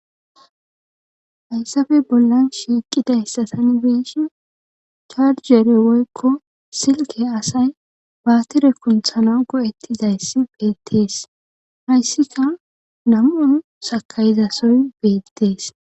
hayssafe bollan shiiqidaissasani beshin charjerewykko silke asay baatere kunthana go7ettizayssi beettees hayssika nam'un sakayizasoy beettees